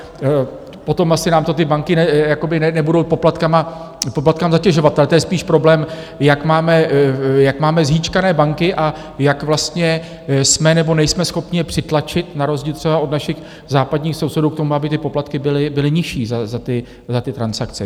Potom asi nám to ty banky nebudou poplatky zatěžovat, ale to je spíš problém, jak máme zhýčkané banky a jak vlastně jsme, nebo nejsme schopni je přitlačit, na rozdíl třeba od našich západních sousedů, k tomu, aby ty poplatky byly nižší za ty transakce.